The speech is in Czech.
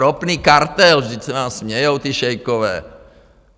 Ropný kartel - vždyť se vám smějou ti šejkové.